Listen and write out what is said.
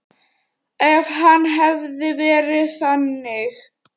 Ef hann hefði verið þannig.